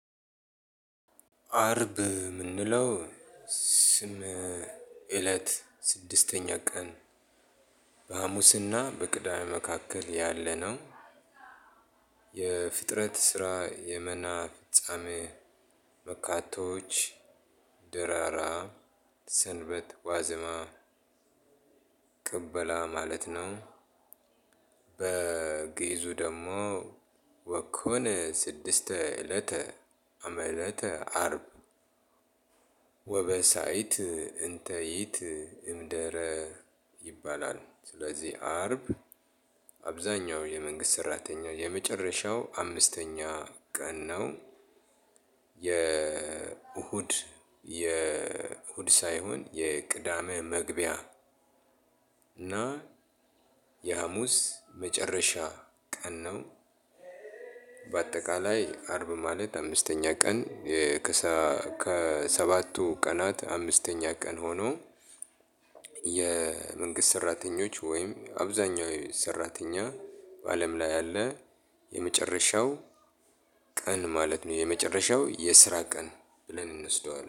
አርብ ምንለው ስም እለት ስድስተኛ ቀን በሃሙስ እና በቅዳሜ መካከል ያለ ነው። የፍጥረት ስራ የመና ጾም መካከሎች ድራራ ሰንበት ዋዜማ ቅበላ ማለት ነው። በግእዙ ደግሞ ወኮነ ስድስተ እለተ አመለተ አርብ። ወበሳይት እንተይት እምደረ ይባላል ስለዚህ አርብ አብዛኛው የመንግስት ሰራተኛ የመጨረሻው አምስተኛ ቀን ነው። የእሁድ የእሁድ ሳይሆን የቅዳሜ መግቢያ እና የሐሙስ መጨረሻ ቀን ነው። ባጠቃላይ አርብ ማለት አምስተኛ ቀን ከሰባቱ ቀናት አምስተኛ ቀን ሆኖ። የመንግስት ሰራተኞች ወይም አብዛኛው ሰራተኛ በአለም ላይ ያለ የመጨረሻው ቀን ማለት ነው የመጨረሻው የስራ ቀን ብለን እንወስደዋለን